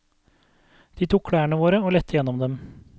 De tok klærne våre og lette gjennom dem.